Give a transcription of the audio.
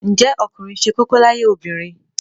Ǹjẹ́ ọkùnrin ṣe kókó láyé obìnrin?